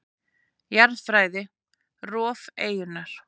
Jarðfræði: Rof eyjunnar.